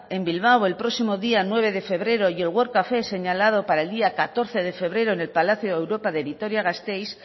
en bilbao el próximo día nueve de febrero y el world café señalado para el día catorce de febrero en el palacio europa de vitoria gasteiz